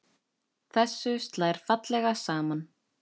Þessu slær fallega saman.